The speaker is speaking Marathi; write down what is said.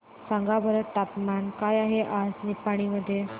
सांगा बरं तापमान काय आहे आज निपाणी मध्ये